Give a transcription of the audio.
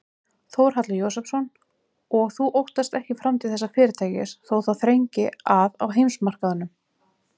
Þórhallur Jósefsson: Og þú óttast ekki framtíð þessa fyrirtækis þó það þrengi að á heimsmarkaðnum?